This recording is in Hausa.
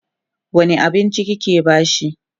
wani abinci kike bashi?